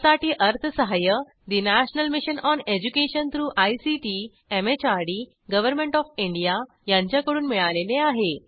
यासाठी अर्थसहाय्य national mission on education through ICT MHRD government of India यांच्याकडून मिळालेले आहे